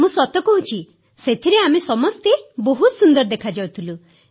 ମୁଁ ସତ କହୁଛି ସେଥିରେ ଆମେ ସମସ୍ତେ ବହୁତ ସୁନ୍ଦର ଦେଖାଯାଉଥିଲୁ